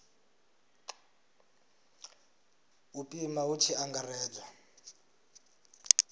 u pima hu tshi angaredzwa